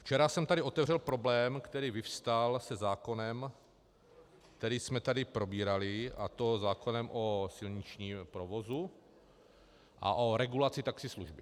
Včera jsem tady otevřel problém, který vyvstal se zákonem, který jsme tady probírali, a to zákonem o silničním provozu a o regulaci taxislužby.